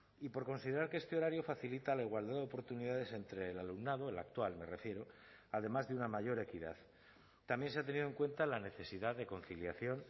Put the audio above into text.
y por considerar que este horario facilita la igualdad de oportunidades entre el alumnado el actual me refiero además de una mayor equidad también se ha tenido en cuenta la necesidad de conciliación